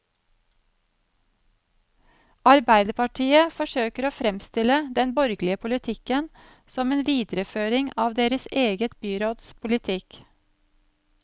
Arbeiderpartiet forsøker å fremstille den borgerlige politikken som en videreføring av deres eget byråds politikk.